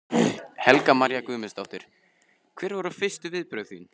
Helga María Guðmundsdóttir: Hver voru fyrstu viðbrögð þín?